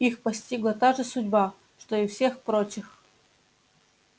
их постигла та же судьба что и всех прочих